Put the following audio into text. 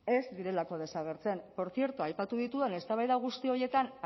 ez direlako desagertzen por cierto aipatu ditudan eztabaida guzti horietan